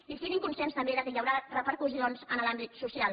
i siguin conscients també que hi haurà repercussions en l’àmbit social